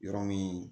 Yɔrɔ min